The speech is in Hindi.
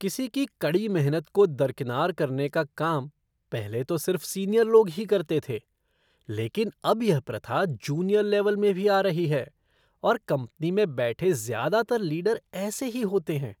किसी की कड़ी मेहनत को दरकिनार करने का काम पहले तो सिर्फ सीनियर लोग ही करते थे, लेकिन अब यह प्रथा जूनियर लेवल में भी आ रही है और कंपनी में बैठे ज़्यादातर लीडर ऐसे ही होते हैं।